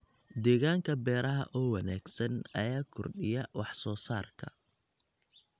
Deegaanka beeraha oo wanaagsan ayaa kordhiya wax soo saarka.